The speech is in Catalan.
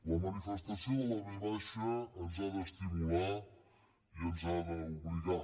la manifestació de la v ens ha d’estimular i ens ha d’obligar